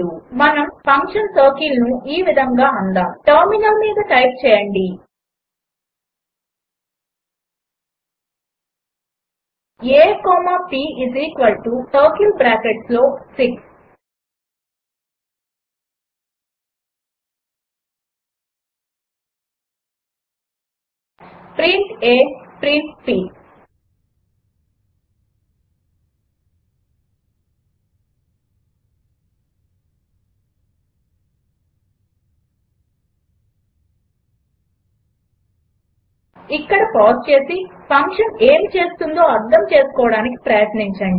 మనం ఫంక్షన్ సర్కిల్ను ఈ విధంగా అందాము టెర్మినల్ మీద టైప్ చేయండి a కామా p సర్కిల్ బ్రాకెట్స్లో 6 ప్రింట్ a ప్రింట్ p ఇక్కడ పాజ్ చేసి ఫంక్షన్ ఏమి చేస్తుందో అర్థం చేసుకోడానికి ప్రయత్నించండి